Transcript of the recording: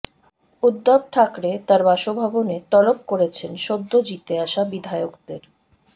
উদ্ধব ঠাকরে তাঁর বাসভবনে তলব করেছেন সদ্য জিতে আসা বিধায়কদের